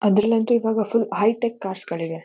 ಅದೇ ರೀತಿ ಇವಾಗ ಸ್ವಲ್ಪ ಹೈಟೆಕ್ ಕಾರ್ಸ್ ಗಳಿವೆ.